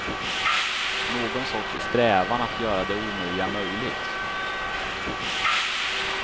Någon sorts strävan att göra det omöjliga möjligt.